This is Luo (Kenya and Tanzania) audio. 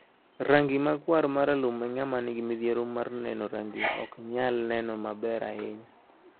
Rangi makwar ma ralum ema ng'ama nigi midhiero mar neno rangi ok nyal neno maber ahinya.